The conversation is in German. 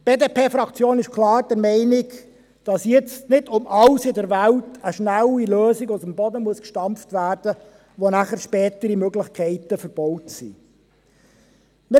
Die BDP-Fraktion ist klar der Meinung, dass jetzt nicht um alles in der Welt eine schnelle Lösung aus dem Boden gestampft werden muss, mit welcher spätere Möglichkeiten verbaut sein werden.